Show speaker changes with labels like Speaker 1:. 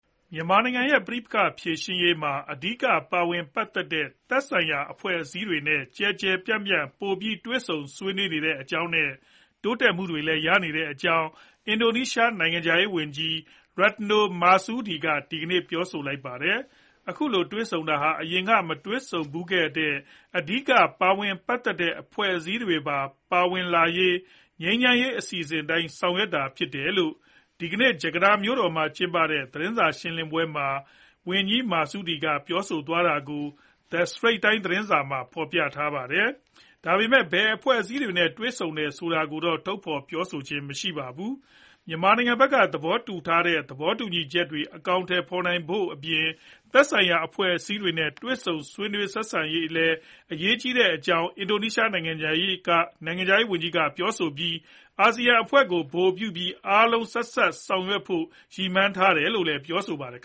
Speaker 1: မြန်မာနိုင်ငံရဲ့ ပဋိပက္ခဖြေရှင်းရေးမှာ အဓိက ပါဝင်ပတ်သက်တဲ့ သက်ဆိုင်ရာ အဖွဲ့အစည်းတွေနဲ့ ကျယ်ကျယ်ပြန့်ပြန့် ပိုပြီး တွေ့ဆုံနေတဲ့အကြောင်းနဲ့ တိုးတက်မှုတွေ ရနေတဲ့အကြောင်း အင်ဒိုနီးရှား နိုင်ငံခြားရေးဝန်ကြီး Retno Marsudi ဒီကနေ့ ပြောဆိုလိုက်ပါတယ်။ အခုလို တွေ့ဆုံတာဟာ အရင်က မတွေ့ဆုံဖူးတဲ့ အဓိက ပါဝင်ပတ်သက်တဲ့ အဖွဲ့အစည်းတွေပါ ပါဝင်လာရေး ငြိမ်းချမ်းရေး အစီအစဉ်အတိုင်း ဆောင်ရွက်တာ ဖြစ်တယ်လို့ ဒီနေ့ ဂျကာတာမြို့တော်မှာ ကျင်းပတဲ့ သတင်းစာရှင်းလင်းပွဲမှာ ဝန်ကြီး Marsudi က ပြောဆိုတာကို The Strait Times သတင်းစာမှာ ဖော်ပြထားပါတယ်။ ဒါပေမဲ့ ဘယ်အဖွဲ့အစည်းတွေနဲ့ တွေ့ဆုံတယ် ဆိုတာကိုတော့ ထုတ်ဖော် ပြောဆိုခြင်းမရှိပါဘူး။ မြန်မာနိုင်ငံဘက်က သဘောတူထားတဲ့ သဘောတူညီချက်တွေ အကောင်အထည် ဖော်နိုင်ဖို့အပြင် သက်ဆိုင်ရာ အဖွဲ့အစည်းတွေနဲ့ ထိတွေ့ ဆက်ဆံနိုင်ရေးလည်း အရေးကြီးတဲ့အကြောင်း အင်ဒိုနီးရှား နိုင်ငံခြားရေးဝန်ကြီးက ပြောဆိုပြီး အာဆီယံအဖွဲ့ကို ဗဟိုပြုပြီး အားလုံး ဆက်စပ်ဆောင်ရွက်ဖို့နဲ့ စုပေါင်းဆောင်ရွက်နိုင်ဖို့ ရည်မှန်းထားတယ်လို့လည်း ဝန်ကြီး Marsudi က ပြောဆို
Speaker 2: ပါတယ်။